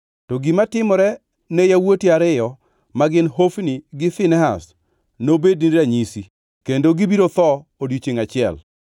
“ ‘To gima timore ne yawuoti ariyo ma gin Hofni gi Finehas nobedni ranyisi kendo gibiro tho odiechiengʼ achiel.